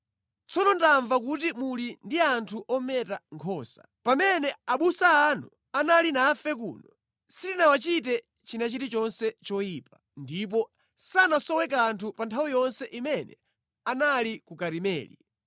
“ ‘Tsono ndamva kuti muli ndi anthu ometa nkhosa. Pamene abusa anu anali nafe kuno, sitinawachite china chilichonse choyipa, ndipo sanasowe kanthu pa nthawi yonse imene anali ku Karimeli.